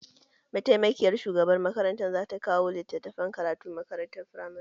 Mataimakiyar shugabar makaranta zata kawo litattafan karatu ma makarantun firamare.